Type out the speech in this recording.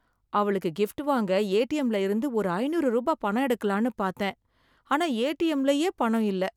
அவளுக்கு கிஃப்ட் வாங்க ஏடிஎம்ல இருந்து ஒரு ஐநூறு ரூபா பணம் எடுக்கலாம்னு பாத்தேன், ஆனா ஏடிஎம்லயே பணம் இல்ல.